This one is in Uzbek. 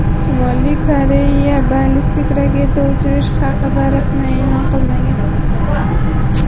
Shimoliy Koreya ballistik raketa uchirilishi haqida rasman e’lon qilmagan.